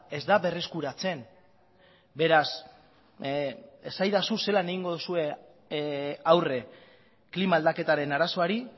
ez da berreskuratzen beraz esaidazu zelan egingo dozue aurre klima aldaketaren arazoari